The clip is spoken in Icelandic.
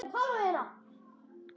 Sindri: Aldrei áður veitt?